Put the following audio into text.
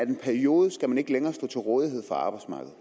en periode ikke længere skal stå til rådighed for arbejdsmarkedet